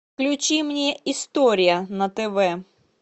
включи мне история на тв